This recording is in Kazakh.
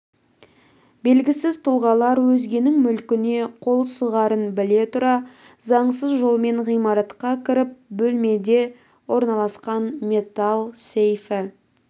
белгісіз тұлғалар өзгенің мүлкіне қол сұғарын біле тұра заңсыз жолмен ғимаратқа кіріп бөлмеде орналасқан металл сейфі